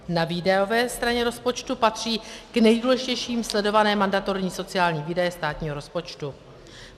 Na výdajové straně rozpočtu patří k nejdůležitějším sledované mandatorní sociální výdaje státního rozpočtu.